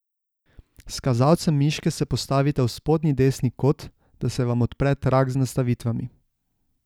S kazalcem miške se postavite v spodnji desni kot, da se vam odpre trak z nastavitvami.